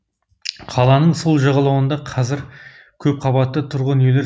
қаланың сол жағалауында қазір көпқабатты тұрғын үйлер